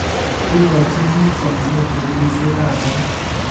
Ingochin biik somanet sukuulisiekab barak